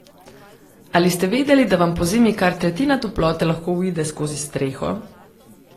Ali ste vedeli, da vam pozimi kar tretjina toplote lahko uide skozi streho?